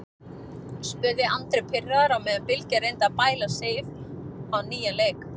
spurði Andri pirraður á meðan Bylgja reyndi að bæla Sif á nýjan leik.